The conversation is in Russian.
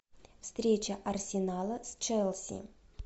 встреча арсенала с челси